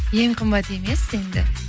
ең қымбат емес енді